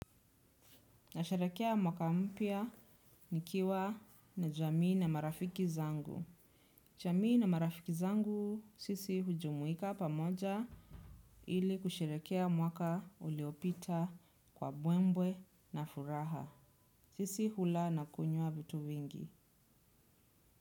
Nasheherekea mwaka mpya nikiwa na jamii na marafiki zangu. Jamii na marafiki zangu sisi hujumuika pamoja ili kusharekea mwaka uliopita kwa mbwembwe na furaha. Sisi hula na kunywa vitu vingi.